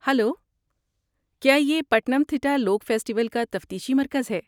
Hello, کیا یہ Pathanamthitta لوک فیسٹیول کا تفتیشی مرکز ہے؟